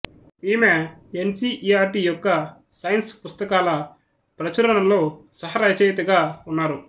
ఈమె N C E R T యొక్క science పుస్తకాల ప్రచురణలో సహరచయితగా ఉన్నారు